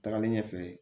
Tagalen ɲɛfɛ